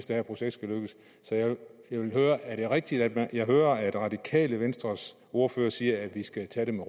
det her projekt skal lykkes så jeg vil høre er det rigtigt at jeg hører at radikale venstres ordfører siger at vi skal tage den